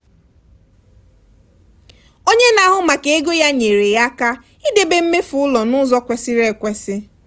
onye na-ahụ maka ego ya nyere ya aka idebe mmefu ụlọ n'ụzọ kwesịrị ekwesị